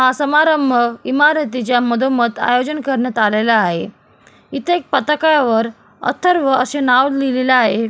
हा समारंभ इमारतीच्या मधोमध आयोजन करण्यात आलेला आहे इथे एक पताका वर अथर्व असे नाव लिहिलेले आहे.